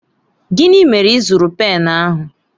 Gịnị mere ị zụrụ pen ahụ?